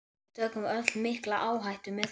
Við tökum öll mikla áhættu með þessu.